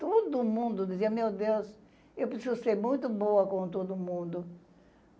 Todo mundo dizia, meu Deus, eu preciso ser muito boa com todo mundo.